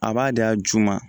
A b'a da ju ma